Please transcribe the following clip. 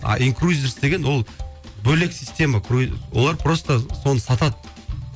а инкрузерс деген ол бөлек система олар просто соны сатады